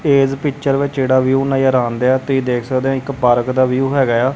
ਇਸ ਪਿਚਰ ਵਿੱਚ ਜਿਹੜਾ ਵਿਊ ਨਜਰ ਆਉਣ ਦਿਆ ਤੁਸੀਂ ਦੇਖ ਸਕਦੇ ਹੋ ਇੱਕ ਪਾਰਕ ਦਾ ਵਿਊ ਹੈਗਾ ਆ।